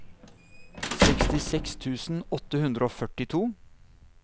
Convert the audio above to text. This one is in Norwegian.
sekstiseks tusen åtte hundre og førtito